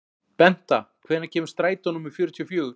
Benta, hvenær kemur strætó númer fjörutíu og fjögur?